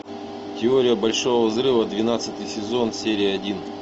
теория большого взрыва двенадцатый сезон серия один